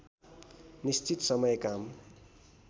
निश्चित समय काम